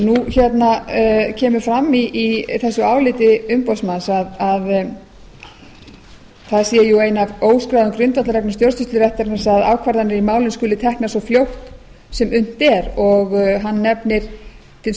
nú kemur fram í þessu áliti umboðsmanns að það sé ein af óskráðum grundvallarreglum stjórnsýsluréttarins að ákvarðanir í málum skulu teknar svo fljótt sem unnt er og hann nefnir til